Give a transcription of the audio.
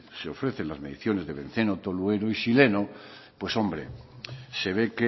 se ofrecen las mediciones de benceno tolueno y xileno pues hombre se ve